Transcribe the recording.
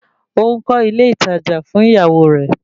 Ó ń kọ́ ilé ìtajà fún ìyàwó rẹ̀